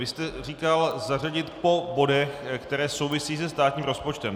Vy jste říkal zařadit po bodech, které souvisí se státním rozpočtem.